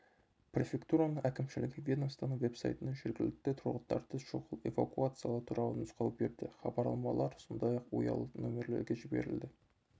префектураның әкімшілігі ведомствоның веб-сайтына жергілікті тұрғындарды шұғыл эвакуациялау туралы нұсқау берді хабарламалар сондай-ақ ұялы нөмірлерге жіберілді